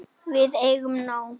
Við eigum nóg.